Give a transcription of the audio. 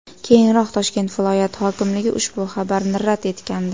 Keyinroq Toshkent viloyati hokimligi ushbu xabarni rad etgandi .